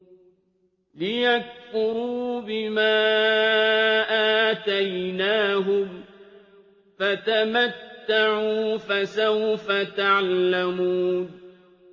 لِيَكْفُرُوا بِمَا آتَيْنَاهُمْ ۚ فَتَمَتَّعُوا فَسَوْفَ تَعْلَمُونَ